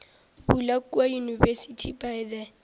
bula kua university by the